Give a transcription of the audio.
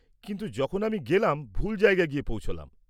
কিন্তু যখন আমি গেলাম, ভুল জায়গায় গিয়ে পৌঁছলাম।